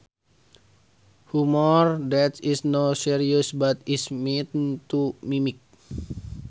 Humor that is not serious but is meant to mimic